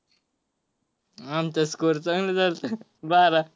आमचा score चांगला झालता बारा.